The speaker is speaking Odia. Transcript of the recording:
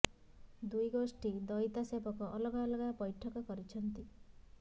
ଦୁଇ ଗୋଷ୍ଠୀ ଦଇତା ସେବକ ଅଲଗା ଅଲଗା ବୈଠକ କରିଛନ୍ତି